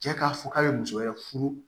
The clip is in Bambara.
Cɛ k'a fɔ k'a bɛ muso wɛrɛ furu